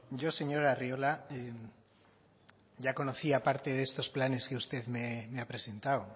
yo señor arriola ya conocía parte de estos planes que usted me ha presentado